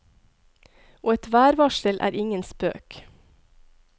Og et værvarsel er ingen spøk.